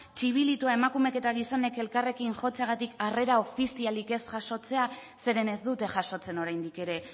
txilibitua emakumeek eta gizonek elkarrekin jotzeagatik harrera ofizialik ez jasotzea zeren ez dute jasotzen oraindik ere